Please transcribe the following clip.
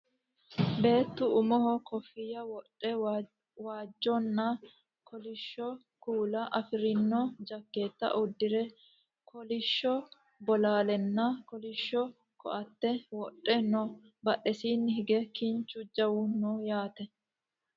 beettu umoho kooffinya wodhe waajjonna kolishsho kuula afirino jakkeetta uddire kolishsho bolaalenna kolishsho ko"atte wodhe no badhesiinni hige kinchu jawu no yaate